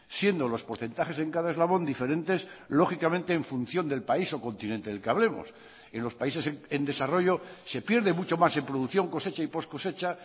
siendo los porcentajes en cada eslabón diferentes lógicamente en función del país o continente de el que hablemos en los países en desarrollo se pierde mucho más en producción cosecha y poscosecha